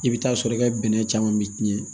I bɛ taa sɔrɔ i ka bɛnɛ caman bɛ tiɲɛ